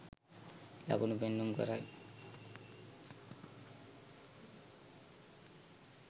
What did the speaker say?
ලකුණු පෙන්නුම් කරයි.